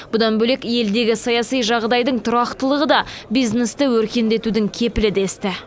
бұдан бөлек елдегі саяси жағдайдың тұрақтылығы да бизнесті өркендетудің кепілі десті